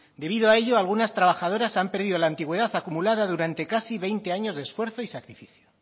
debido a ello algunas trabajadoras han perdido la antigüedad acumulada durante casi veinte años de esfuerzo y sacrificio